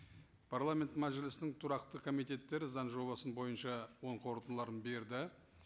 парламент мәжілісінің тұрақты комитеттері заң жобасы бойынша оң қорытындыларын берді